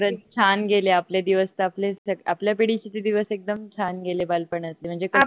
खरच छान गेले आपले दिवस आपले आपल्या पिढीचे ते दिवस एकदम छान गेले बालपणातले